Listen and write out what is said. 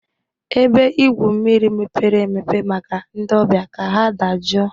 Ebe igwu mmiri mepere emepe maka ndị ọbịa ka ha dajụọ.